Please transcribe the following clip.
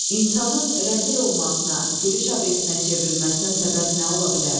insanın rəzil olmasına, gülüş obyektinə çevrilməsinə səbəb nə ola bilər?